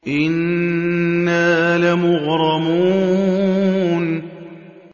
إِنَّا لَمُغْرَمُونَ